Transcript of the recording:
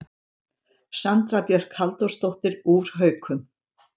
Sandra Björk Halldórsdóttir úr Haukum